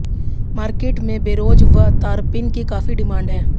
market में बिरोजे व तारपिन की काफी डिमांड है